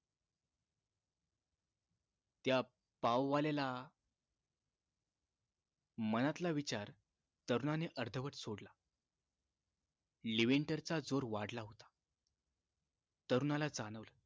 त्या पाव वाल्याला मनातला विचार तरुणाने अर्धवट सोडलं लिविंटर चा जोर वाढला होता तरुणाला जाणवलं